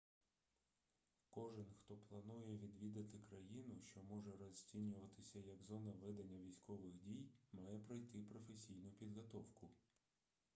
кожен хто планує відвідати країну що може розцінюватися як зона ведення військових дій має пройти професійну підготовку